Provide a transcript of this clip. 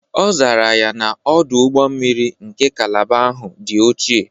Ọ zara ya na, Ọdụ ụgbọ mmiri nke kalaba ahụ dị ochie.